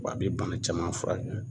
Wa a bɛ bana caman furakɛ